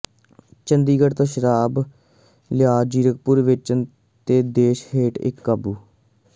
ਚੰਡੀਗੜ੍ਹ ਤੋਂ ਸ਼ਰਾਬ ਲਿਆ ਜ਼ੀਰਕਪੁਰ ਵੇਚਣ ਦੇ ਦੋਸ਼ ਹੇਠ ਇਕ ਕਾਬੂ